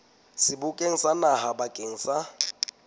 sebokeng sa naha bakeng sa